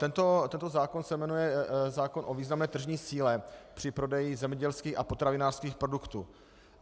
Tento zákon se jmenuje zákon o významné tržní síle při prodeji zemědělských a potravinářských produktů.